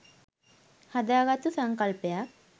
හදාගත්තු සංකල්පයක්.